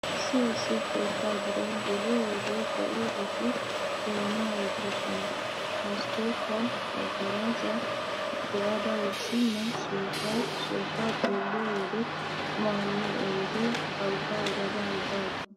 Issi issi keettaa giddo geliyo wode be'iyobati doonaa oyttoosona. Maskkootiya maggaraajjaa be'ada wursennan soofay, soofaa xeelliyo wode qumaa miyo oydee awugaa odada awugaa aggoo!